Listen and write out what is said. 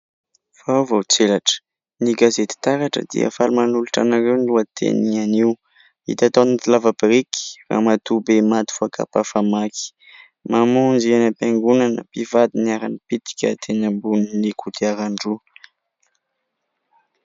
Vaovao tselatra ny gazety "taratra" dia faly manolotra anareo no lohateny anio : "hita tao anaty lava-biriky ramatoabe maty voakapa famaky". "Namonjy any am-piangonana mpivady niara-nipitika teny ambony kodiaran-droa".